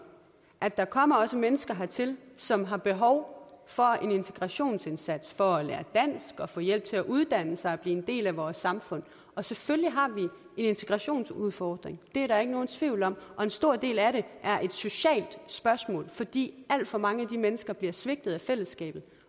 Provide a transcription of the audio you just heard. at der også kommer mennesker hertil som har behov for en integrationsindsats for at lære dansk og få hjælp til at uddanne sig og blive en del af vores samfund og selvfølgelig har vi en integrationsudfordring det er der ikke nogen tvivl om og en stor del af den er et socialt spørgsmål fordi alt for mange af de mennesker bliver svigtet af fællesskabet